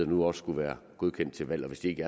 nu også skulle være godkendt til valg og hvis de ikke